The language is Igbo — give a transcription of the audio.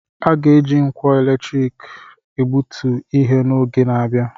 A ga-eji nkwọ eletrik egbutu ihe n'oge na-abịa.